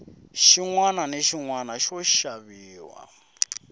xinwana na xinwana xa xaviwa